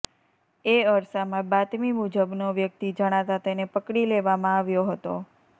તે અરસામાં બાતમી મુજબનો વ્યક્તિ જણાતાં તેને પકડી લેવામાં આવ્યો હતો